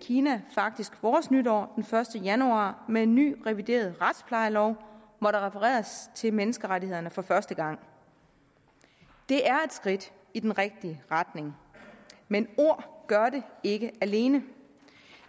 kina faktisk vores nytår den første januar med en ny revideret retsplejelov hvor der refereres til menneskerettighederne for første gang det er et skridt i den rigtige retning men ord gør det ikke alene